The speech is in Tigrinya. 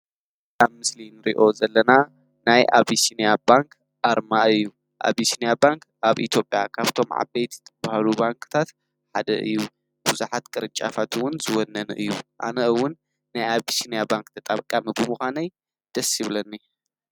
ካብ ምስሊን ርዮ ዘለና ናይ ኣብስንያ ባንክ ኣርማ እዩ ኣብስንያ ባንክ ኣብ ኢቶጴያ ካብቶም ዓበይት ብሃሉ ባንክታት ሓደ እዩ ብዙኃት ቀርጫፋትውን ዝወነነ እዩ ኣነእውን ናይ ኣብስንያ ባንክ ተጣብቃ ሚጉ ምዃነይ ደስይብለኒ።